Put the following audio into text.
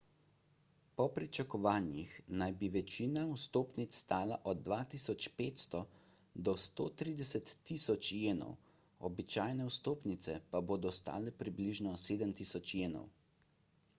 po pričakovanjih naj bi večina vstopnic stala od 2500 do 130.000 jenov običajne vstopnice pa bodo stale približno 7000 jenov